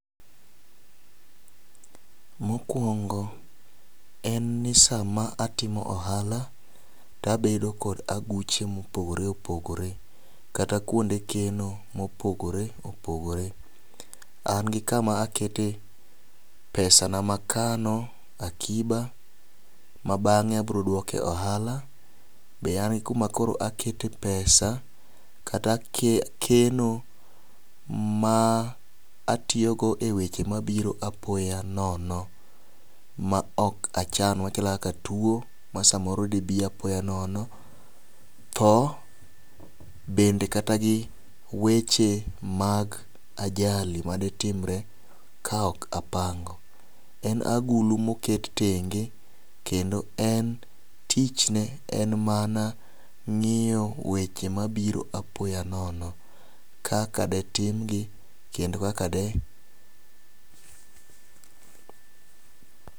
Mokwongo en ni sama atimo ohala tabedo kod aguche mopogore opogore kata kuonde keno mopogore opogore. An gi kama akete pesa na amakano akiba ma bang'e abro duoke ohala be an gi kuma koro akete pesa kata ake keno ma atiyo go eweche mabiro apoya nono ma ok achano machalo kaka tuo a samoro dii apoya anono, tho bende kata gi weche mag ajali maditimre ka ok apango. En agulu moket tenge kendo en tich ne en mana ng'iyo weche mabiro apoya nono kaka ditimgi kendo kaka de